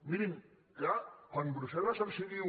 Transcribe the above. mirin clar quan brussel·les els diu